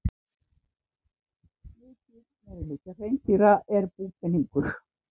Mikill meirihluti hreindýra er búpeningur.